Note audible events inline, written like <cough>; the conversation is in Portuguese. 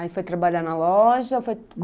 Aí foi trabalhar na loja? ou foi <unintelligible>